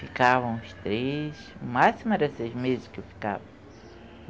Ficavam os três, o máximo era seis meses que eu ficava.